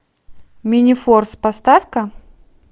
минифорс поставь ка